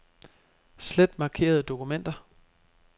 Slet markerede dokumenter.